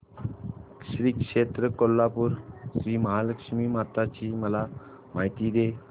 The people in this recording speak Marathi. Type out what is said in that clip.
श्री क्षेत्र कोल्हापूर श्रीमहालक्ष्मी माता ची मला माहिती दे